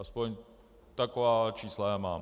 Aspoň taková čísla já mám.